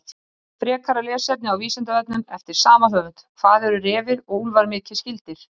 Frekara lesefni á Vísindavefnum eftir sama höfund: Hvað eru refir og úlfar mikið skyldir?